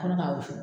Ne ka wusu